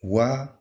Wa